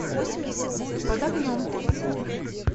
под огнем